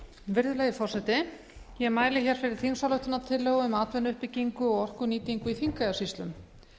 virðulegi forseti ég mæli hér fyrir þingsályktunartillögu um atvinnuuppbyggingu og orkunýtingu í þingeyjarsýslum